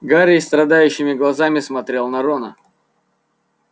гарри страдающими глазами смотрел на рона